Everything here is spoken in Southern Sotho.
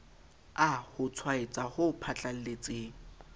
a ho tshwaetsa ho phatlalletseng